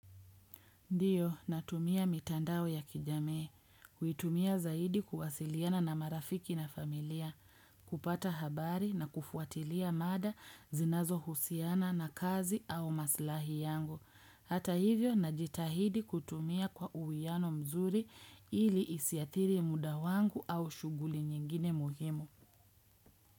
Ndiyo, natumia mitandao ya kijamii, kuitumia zaidi kuwasiliana na marafiki na familia, kupata habari na kufuatilia maada zinazo husiana na kazi au maslahi yangu. Hata hivyo, najitahidi kutumia kwa uwiano mzuri ili isiathiri muda wangu au shughuli nyingine muhimu.